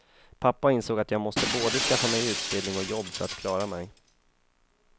Pappa insåg att jag måste både skaffa mig utbildning och jobb för att klara mig.